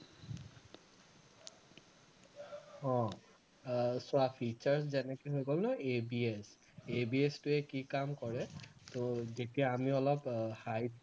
অ আহ চোৱা features যেনেকে হৈ গলেও ABSABS টোৱে কি কাম কৰে তো যেতিয়া আমি অলপ আহ height